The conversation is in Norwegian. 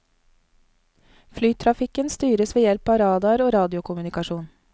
Flytrafikken styres ved hjelp av radar og radiokommunikasjon.